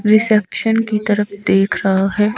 Reception की तरफ देख रहा है।